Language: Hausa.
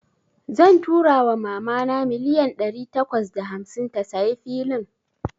Zan tura wa mama na milliyan dari takwas da hamsin ta tsayi filin.